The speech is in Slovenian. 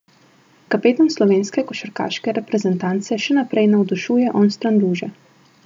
In delovni si želijo na akademiji biti še naprej: "V prihodnjih treh letih nameravamo nadaljevati z enakih tempom.